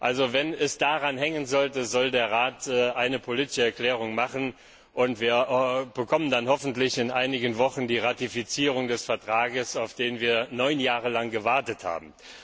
Also wenn es daran hängen sollte, soll der Rat eine politische Erklärung abgeben. Wir bekommen dann hoffentlich in einigen Wochen die Ratifizierung des Vertrags, auf den wir neun Jahre lang gewartet haben.